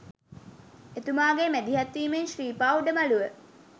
එතුමාගේ මැදිහත්වීමෙන් ශ්‍රීපා උඩමළුව